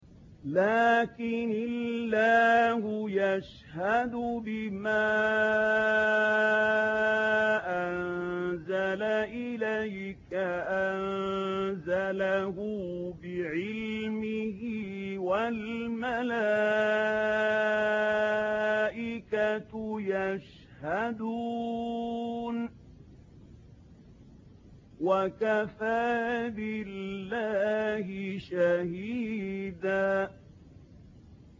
لَّٰكِنِ اللَّهُ يَشْهَدُ بِمَا أَنزَلَ إِلَيْكَ ۖ أَنزَلَهُ بِعِلْمِهِ ۖ وَالْمَلَائِكَةُ يَشْهَدُونَ ۚ وَكَفَىٰ بِاللَّهِ شَهِيدًا